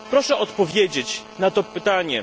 Proszę odpowiedzieć na to pytanie.